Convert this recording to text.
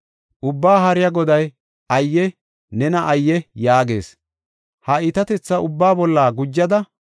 Ubbaa Haariya Goday, “Ayye! Nena ayye!” yaagees. Ha iitatetha ubbaa bolla gujada,